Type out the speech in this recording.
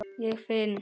Ég finn